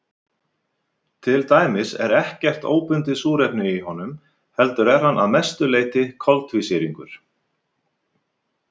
Til dæmis er ekkert óbundið súrefni í honum heldur er hann að mestu leyti koltvísýringur.